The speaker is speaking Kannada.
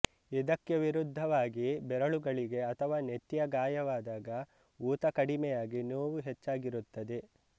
ಇದಕ್ಕೆ ವಿರುದ್ಧವಾಗಿ ಬೆರಳುಗಳಿಗೆ ಅಥವಾ ನೆತ್ತಿಗೆ ಗಾಯವಾದಾಗ ಊತ ಕಡಿಮೆಯಾಗಿ ನೋವು ಹೆಚ್ಚಾಗಿರುತ್ತದೆ